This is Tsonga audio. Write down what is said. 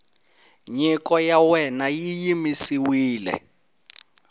nyiko ya wena yi yimisiwile